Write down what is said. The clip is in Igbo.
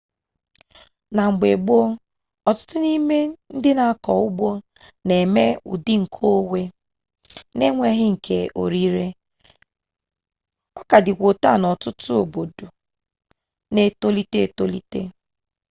na mgbe gboo ọtụtụ n'ime ndị na-akọ ugbo na-eme ụdị nke onwe n'enweghị nke orire ọ ka dịkwa otu a n'ọtụtụ obodo ka na etolite etolite